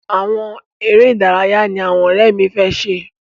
Àwọn eré ìdáraya ní àwọn òré mí fẹ ṣe.